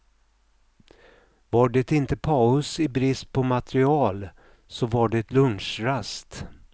Var det inte paus i brist på material, så var det lunchrast.